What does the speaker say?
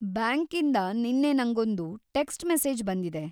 ಬ್ಯಾಂಕಿಂದ ನಿನ್ನೆ ನಂಗೊಂದು ಟೆಕ್ಸ್ಟ್ ಮೆಸೇಜ್‌ ಬಂದಿದೆ.